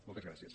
moltes gràcies